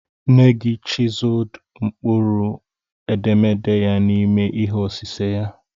Nengi chiseled mkpụrụ edemede ya n'ime ihe osise ya.